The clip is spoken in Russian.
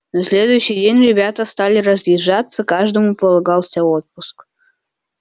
на следующий день ребята стали разъезжаться каждому полагался отпуск